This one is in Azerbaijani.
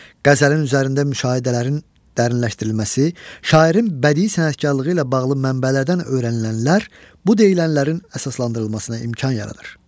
Qəzəlin üzərində müşahidələrin dərinləşdirilməsi, şairin bədii sənətkarlığı ilə bağlı mənbələrdən öyrənilənlər bu deyilənlərin əsaslandırılmasına imkan yaradır.